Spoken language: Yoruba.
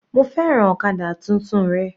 Mo fẹ́ràn ọ̀kadà tuntun rẹ.